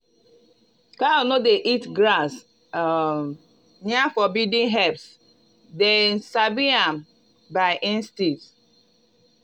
cow no dey eat grass um near forbidden herbs dem sabi am by instinct.